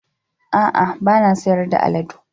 A'a, ba na sayar da aladu